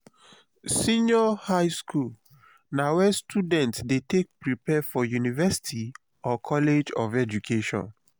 senior highschool na where students de take prepare for university or college of education